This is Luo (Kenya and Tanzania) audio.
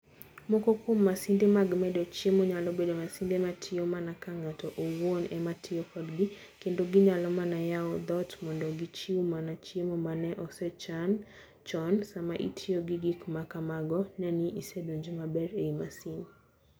Moko kuom masinde mag medo chiemo, nyalo bedo masinde ma tiyo mana ka ng'ato owuon ema tiyo kodgi, kendo ginyalo mana yawo dhoot mondo gichiw mana chiemo ma ne osechan chon. Sama itiyo gi gik ma kamago, ne ni isedonjo maber ei masin.